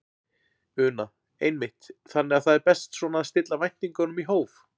Una: Einmitt, þannig að það er best svona að stilla væntingunum í hóf?